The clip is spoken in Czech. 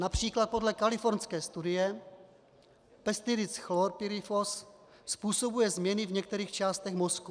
Například podle kalifornské studie pesticid chlorpyrifos způsobuje změny v některých částech mozku.